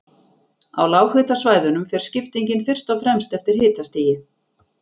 Á lághitasvæðunum fer skiptingin fyrst og fremst eftir hitastigi.